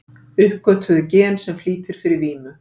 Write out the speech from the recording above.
Uppgötvuðu gen sem flýtir fyrir vímu